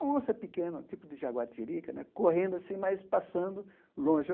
Onça pequena, tipo de jaguatirica né, correndo assim, mas passando longe.